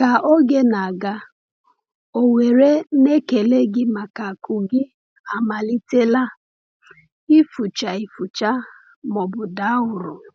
Ka oge na-aga, ọ̀ nwere na ekele gị maka akụ gị amalitela ịfụcha ịfụcha ma ọ bụ daa uru?